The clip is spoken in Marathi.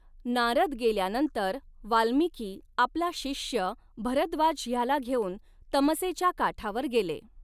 नारद गेल्यानंतर वाल्मिकी आपला शिष्य भरद्वाज ह्याला घेऊन तमसेच्या काठावर गेले.